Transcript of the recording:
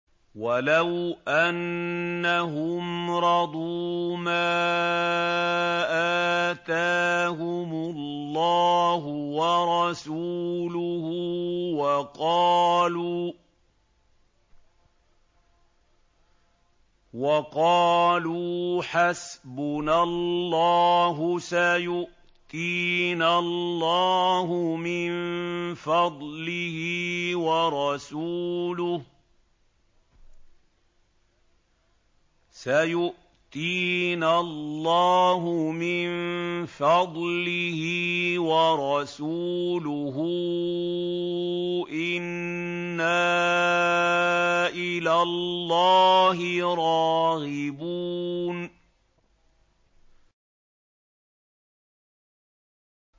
وَلَوْ أَنَّهُمْ رَضُوا مَا آتَاهُمُ اللَّهُ وَرَسُولُهُ وَقَالُوا حَسْبُنَا اللَّهُ سَيُؤْتِينَا اللَّهُ مِن فَضْلِهِ وَرَسُولُهُ إِنَّا إِلَى اللَّهِ رَاغِبُونَ